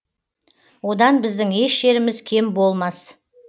одан біздің еш жеріміз кем болмас